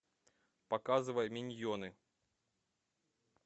показывай миньоны